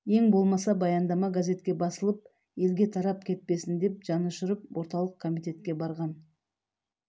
ең болмаса баяндама газетке басылып елге тарап кетпесін деп жанұшырып орталық комитетке барған